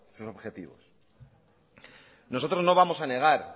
sus objetivos nosotros no vamos a negar